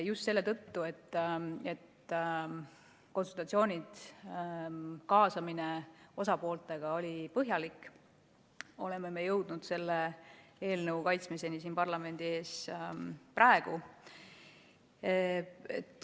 Just selle tõttu, et konsultatsioonid osapooltega ja kaasamine oli põhjalik, oleme jõudnud selle eelnõu kaitsmiseni siin parlamendi ees alles praegu.